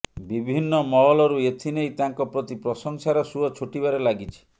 ବିଭିନ୍ନ ମହଲରୁ ଏଥିନେଇ ତାଙ୍କ ପ୍ରତି ପ୍ରଶଂସାର ସୁଅ ଛୁଟିବାରେ ଲାଗିଛି